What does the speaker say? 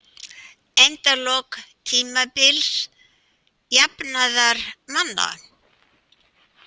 Endalok tímabils jafnaðarmanna